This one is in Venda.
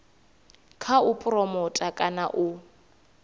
kha u phuromotha kana u